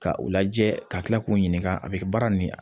Ka u lajɛ ka kila k'u ɲininka a bɛ kɛ baara nin